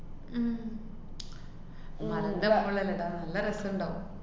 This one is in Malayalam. ഉം മലേന്‍റെ മോളിലല്ലേടാ, നല്ല രസണ്ടാവും.